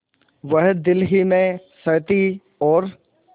वह दिल ही में सहती और